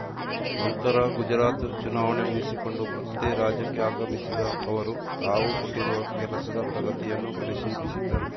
ನಂತರ ಗುಜರಾತ್‌ ಚುನಾವಣೆ ಮುಗಿಸಿಕೊಂಡು ಮತ್ತೆ ರಾಜ್ಯಕ್ಕೆ ಆಗಮಿಸಿದ್ದ ಅವರು ತಾವು ಕೊಟ್ಟಿರುವ ಕೆಲಸದ ಪ್ರಗತಿಯನ್ನೂ ಪರಿಶೀಲಿಸಿದ್ದರು